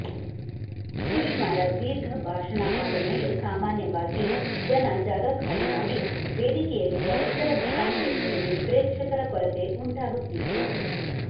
ಸುಷ್ಮಾರ ದೀರ್ಘ ಭಾಷಣ ಆದಮೇಲೆ ಸಾಮಾನ್ಯವಾಗಿ ಜನ ಜಾಗ ಖಾಲಿ ಮಾಡಿ ವೇದಿಕೆಯಲ್ಲಿದ್ದ ಇತರ ಘಟಾನುಘಟಿಗಳಿಗೆ ಪ್ರೇಕ್ಷಕರ ಕೊರತೆ ಉಂಟಾಗುತ್ತಿತ್ತು